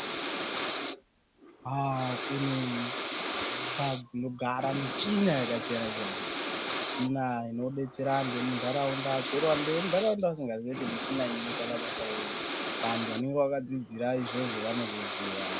Haa kine mphatso dzinogara michina yakasiyana-siyana .Michina inodetsera antu emuntaraunda. Chero antu emuntaraunda asingaziyi kuti michina inoite mabasa ei ,vantu vanonga vakadzidzira izvozvo vanozviziya.